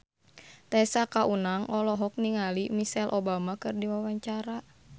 Tessa Kaunang olohok ningali Michelle Obama keur diwawancara